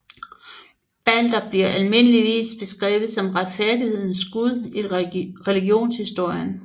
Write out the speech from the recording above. Balder bliver almindeligvis beskrevet som retfærdighedens gud i religionshistorien